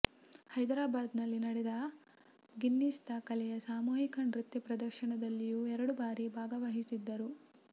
ಹೈದ್ರಾಬಾದ್ನಲ್ಲಿ ನಡೆದ ಗಿನ್ನಿಸ್ ದಾಖಲೆಯ ಸಾಮೂಹಿಕ ನೃತ್ಯ ಪ್ರದರ್ಶನದಲ್ಲಿಯೂ ಎರಡು ಬಾರಿ ಭಾಗವಹಿಸಿದ್ದರು